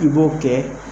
I b'o kɛ